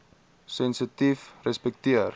sensitiefrespekteer